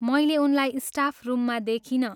मैले उनलाई स्टाफ रुममा देखिनँ।